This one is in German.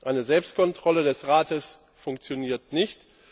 Eine Selbstkontrolle des Rates funktioniert nicht.